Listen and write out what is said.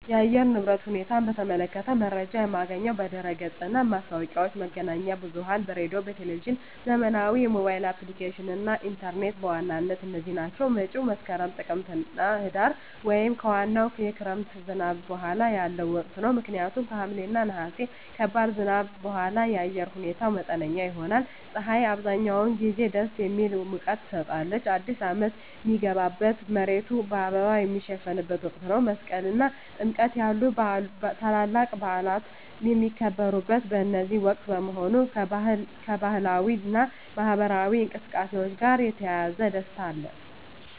የአየር ንብረት ሁኔታን በተመለከተ መረጃ የማገኘው በድረ-ገጽ እና ማስታወቂያዎች፣ መገናኛ ብዙኃን በራዲዮ፣ በቴሊቭዥን፣ ዘመናዊ የሞባይል አፕሊኬሽኖች እና ኢንተርኔት በዋናነት እነዚህ ናቸው። መፀው መስከረም፣ ጥቅምትና ህዳር) ወይም ከዋናው የክረምት ዝናብ በኋላ ያለው ወቅት ነው። ምክንያቱም ከሐምሌ እና ነሐሴ ከባድ ዝናብ በኋላ የአየር ሁኔታው መጠነኛ ይሆናል። ፀሐይ አብዛኛውን ጊዜ ደስ የሚል ሙቀት ትሰጣለች። አዲስ አመት ሚገባበት፣ መሬቱ በአበባ ሚሸፈንበት ወቅት ነው። መስቀል እና ጥምቀት ያሉ ታላላቅ በዓላት የሚከበሩት በዚህ ወቅት በመሆኑ፣ ከባህላዊ እና ማኅበራዊ እንቅስቃሴዎች ጋር የተያያዘ ደስታ አለ።